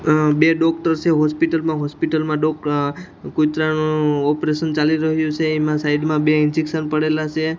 અ બે ડોક્ટર સે હોસ્પિટલ માં હોસ્પિટલ માં ડો અ કુતરાનો ઓપરેશન ચાલી રહ્યું સે એમાં સાઈડ માં બે ઇન્જેક્શન પડેલા સે.